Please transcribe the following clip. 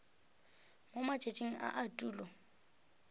mo matšatšing a a tulo